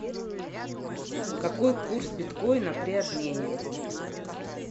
какой курс биткоина при обмене